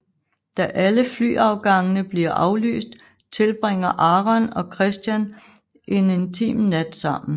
Da alle flyafgangene bliver aflyst tilbringer Aaron og Christian en intim nat sammen